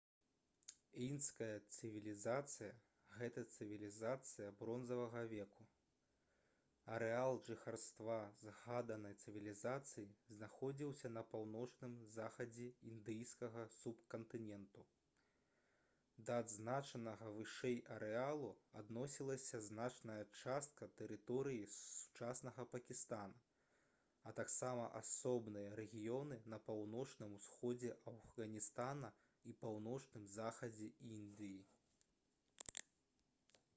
індская цывілізацыя гэта цывілізацыя бронзавага веку арэал жыхарства згаданай цывілізацыі знаходзіўся на паўночным захадзе індыйскага субкантыненту да адзначанага вышэй арэалу адносілася значная частка тэрыторыі сучаснага пакістана а таксама асобныя рэгіёны на паўночным усходзе афганістана і паўночным захадзе індыі